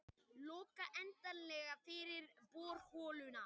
Loka endanlega fyrir borholuna